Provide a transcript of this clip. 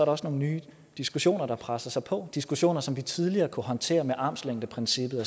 også nogle nye diskussioner der presser sig på diskussioner som vi tidligere kunne håndtere med armslængdeprincippet